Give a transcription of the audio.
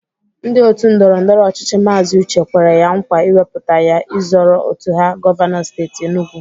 Ndị otu ndọrọndọrọ ọchịchị Maazi Uche kwere ya nkwa iwepụta ya ịzọrọ otu ha govanọ steeti Enugwu